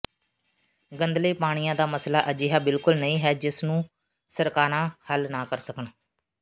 ਗੰਧਲੇ ਪਾਣੀਆਂ ਦਾ ਮਸਲਾ ਅਜਿਹਾ ਬਿਲਕੁਲ ਨਹੀਂ ਹੈ ਜਿਸ ਨੂੰ ਸਰਕਾਰਾਂ ਹੱਲ ਨਾ ਕਰ ਸਕਣ